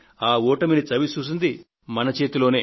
ఆ ఓటమిని చవి చూసింది మాత్రం మన చేతిలోనే